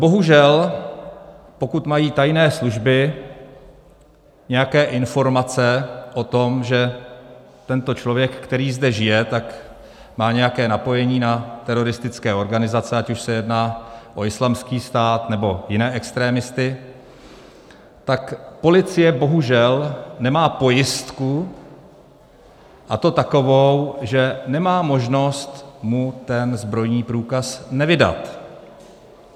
Bohužel pokud mají tajné služby nějaké informace o tom, že tento člověk, který zde žije, tak má nějaké napojení na teroristické organizace, ať už se jedná o Islámský stát, nebo jiné extremisty, tak policie bohužel nemá pojistku, a to takovou, že nemá možnost mu ten zbrojní průkaz nevydat.